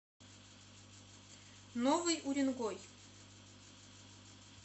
новый уренгой